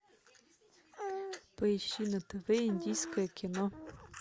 поищи на тв индийское кино